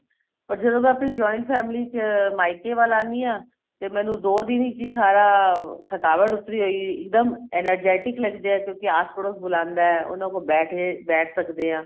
ਪਰ ਜਦੋਂ ਮੈਂ ਆਪਣੀ joint family ਚ ਮਾਇਕੇ ਵੱਲ ਆਨੀ ਆ ਤੇ ਮੈਨੂੰ ਦੋ ਦਿਨ ਵਿੱਚ ਹੀ ਸਾਰਾ ਥਕਾਵਟ ਉਤਰੀ ਹੋਈ ਇੱਕ ਦਮ energetic ਲੱਗਦੇ ਏ ਕਿਉਂਕਿ ਆਸ ਪੜੋਸ ਬੁਲਾਂਦਾ ਉਹਨਾ ਕੋਲ ਬੈ ਕੇ ਬੈਠ ਸਕਦੇ ਆ